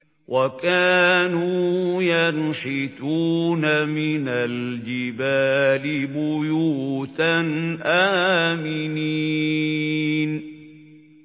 وَكَانُوا يَنْحِتُونَ مِنَ الْجِبَالِ بُيُوتًا آمِنِينَ